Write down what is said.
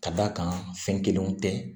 Ka d'a kan fɛn kelenw tɛ